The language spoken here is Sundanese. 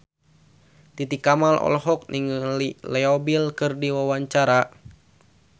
Titi Kamal olohok ningali Leo Bill keur diwawancara